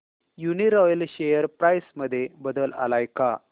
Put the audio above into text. Uniroyal share price मध्ये बदल आलाय का